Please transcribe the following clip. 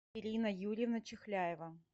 ирина юрьевна чихляева